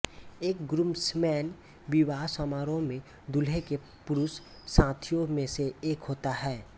एक ग्रूम्समैन विवाह समारोह में दूल्हे के पुरुष साथियों में से एक होता है